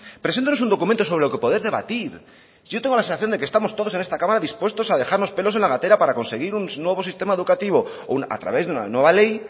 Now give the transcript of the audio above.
preséntenos un documento sobre lo que poder debatir si yo tengo la sensación de que estamos todos en esta cámara dispuestos a dejarnos pelos en la gatera para conseguir un nuevo sistema educativo a través de una nueva ley